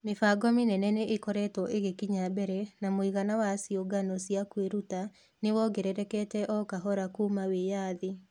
Mĩbango mĩnene nĩ ĩkoretwo ĩgĩkinya mbere na mũigana wa ciũngano cia kwĩruta nĩ wongererekete o kahora kuma wĩyathi.